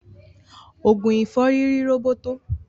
Ogun ìfọ́rí ri roboto.